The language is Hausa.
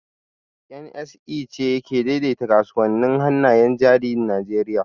NSE ce ke daidaita kasuwannin hannayen jarin Najeriya